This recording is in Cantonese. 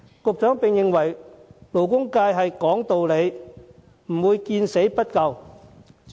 局長認為勞工界是講道理的，不會見死不救。